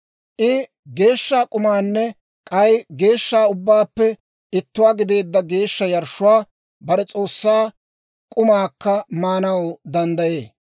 I geeshsha k'umaanne k'ay geeshsha ubbaappe ittuwaa gideedda geeshsha yarshshuwaa bare S'oossaa k'umaakka maanaw danddayee.